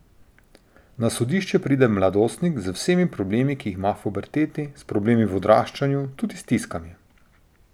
Na sodišče pride mladostnik z vsemi problemi, ki jih ima v puberteti, s problemi v odraščanju, tudi stiskami.